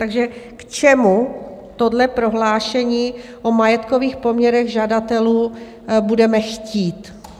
Takže k čemu tohle prohlášení o majetkových poměrech žadatelů budeme chtít?